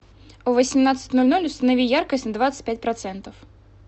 в восемнадцать ноль ноль установи яркость на двадцать пять процентов